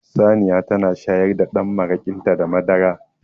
Saniya tana shayar da dan marakinta da madara